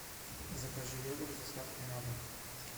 закажи йогурт с доставкой на дом